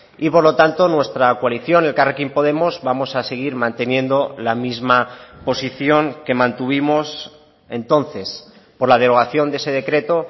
y por lo tanto nuestra coalición elkarrekin podemos vamos a seguir manteniendo la misma posición que mantuvimos entonces por la derogación de ese decreto